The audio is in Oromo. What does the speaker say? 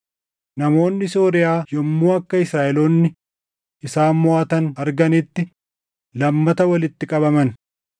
Namoonni Sooriyaa yommuu akka Israaʼeloonni isaan moʼatan arganitti lammata walitti qabaman.